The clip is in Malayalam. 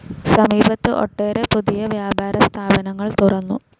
സമീപത്ത്‌ ഒട്ടേറെ പുതിയ വ്യാപാര സ്ഥാപനങ്ങൾ തുറന്നു.